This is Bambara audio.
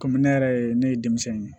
Kɔmi ne yɛrɛ ye ne ye denmisɛn in ye